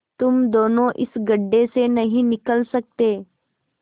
तुम दोनों इस गढ्ढे से नहीं निकल सकते